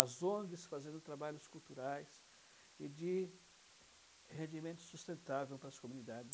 As Ongs fazendo trabalhos culturais e de rendimento sustentável para as comunidades.